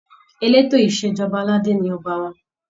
Eleto Ìṣèjọba aládé ni Ọba wa.